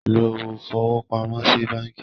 Lọ fowópamọ́ sí báńkí.